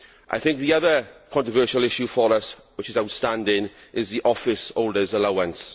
I think the other controversial issue for us which is outstanding is the office holders allowance.